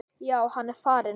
Já, hann er farinn